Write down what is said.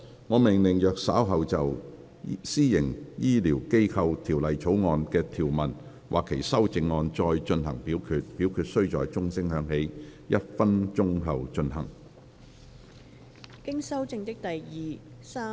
我命令若稍後就《私營醫療機構條例草案》的條文或其修正案再進行點名表決，表決須在鐘聲響起1分鐘後進行。